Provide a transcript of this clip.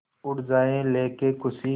उड़ जाएं लेके ख़ुशी